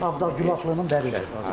Ağda Günharlının kəndidir.